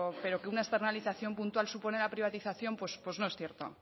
pero que una externalización puntual supone una privatización pues no es cierto